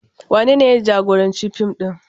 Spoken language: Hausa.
Wanene ya jagoranci fim ɗin?